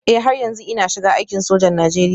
Eh har yanzu ina shiga aikin sojan Najeriya